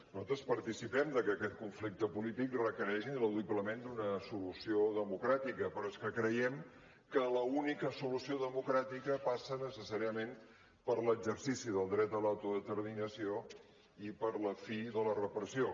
nosaltres par·ticipem que aquest conflicte polític requereix ineludiblement una solució democrà·tica però és que creiem que l’única solució democràtica passa necessàriament per l’exercici del dret a l’autodeterminació i per la fi de la repressió